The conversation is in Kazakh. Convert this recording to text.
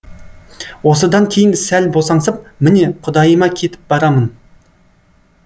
осыдан кейін сәл босаңсып міне құдайыма кетіп барамын